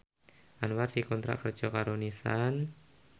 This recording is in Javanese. Anwar dikontrak kerja karo Nissan